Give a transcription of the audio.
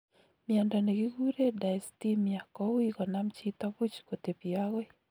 Miondo nekikuree dysthymia kouii konam chito buuch kutepyei agoi